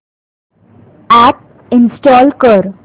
app install कर